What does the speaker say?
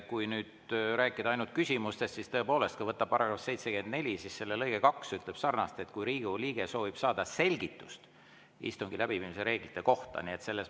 Kui nüüd rääkida ainult küsimustest, siis tõepoolest, kui võtta § 74, siis selle lõige 2 ütleb: "kui Riigikogu liige soovib saada selgitust istungi läbiviimise reeglite kohta.